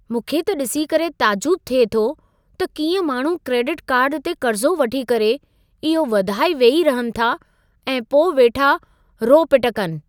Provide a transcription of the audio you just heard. मूंखे त ॾिसी करे ताजुब थिए थो त कीअं माण्हू क्रेडिट कार्ड ते कर्ज़ो वठी करे, इहो वधाए वेही रहनि था ऐं पोइ वेठा रो-पिट कनि!